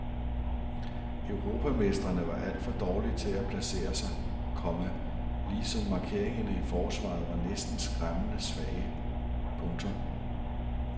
Europamestrene var alt for dårlige til at placere sig, komma ligesom markeringerne i forsvaret var næsten skræmmende svage. punktum